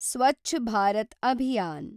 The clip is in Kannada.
ಸ್ವಚ್ಛ್ ಭಾರತ್ ಅಭಿಯಾನ್